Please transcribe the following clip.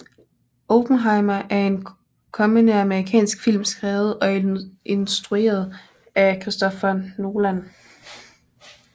Oppenheimer er en kommende amerikansk film skrevet og instrueret af Christopher Nolan